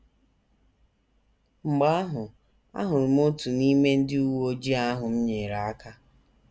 Mgbe ahụ, ahụrụ m otu n’ime ndị uwe ojii ahụ m nyeere aka.